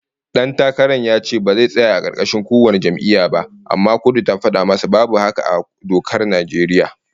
Dan takaran ya ce ba zai tsaya a karkashin kowace jam'iyya ba, amma kotu ta fada masa babu haka a dokar Najeriya